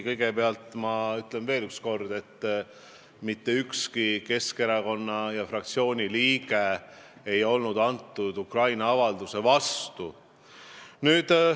Kõigepealt ma ütlen veel üks kord, et mitte ükski Keskerakonna, sh fraktsiooni liige ei olnud selle Ukraina avalduse vastu.